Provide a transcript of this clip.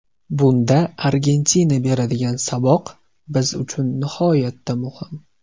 Bunda Argentina beradigan saboq biz uchun nihoyatda muhim.